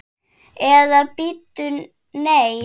Eða bíddu, nei.